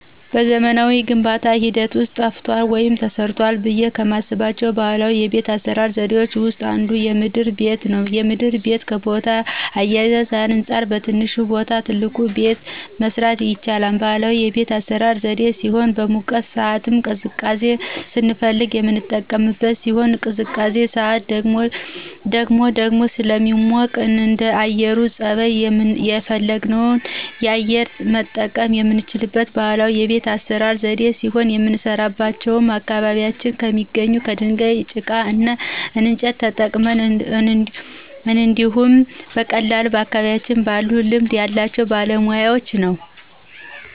በዘመናዊ የግንባታ ሂደት ውስጥ ጠፍቷል ወይም ተረስቷል ብዬ ከማስባቸው ባህላዊ የቤት አሰራር ዘዴዎች ውስጥ አንዱ የምድር ቤት ነው። የምድር ቤት ከቦታ አያያዙ አንፃር በትንሽ ቦታ ትልቅ ቤት ማሰራት የሚችል ባህላዊ የቤት አሰራር ዘዴ ሲሆን በሙቀት ሳዓት ቅዝቃዜ ስንፈልግ የምንቀመጥበት ሲሆን በቅዝቃዜ ሳዓት ደግሞ ደግሞ ስለሚሞቅ እንደአየሩ ፀባይ የፈለግነውን አየር መጠቀም የምንችልበት ባህላዊ የቤት አሰራር ዘዴ ሲሆን የምንሰራውም በአካባቢያችን ከሚገኝ ድንጋይ፣ ጭቃ እና እንጨት ተጠቅመን እንዲሁኝ በቀላሉ በአካባቢያችን ባሉ ልማድ ያላቸው ባለሙያወች ነው።